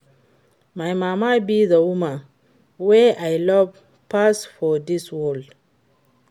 My mama be the woman wey I love pass for dis world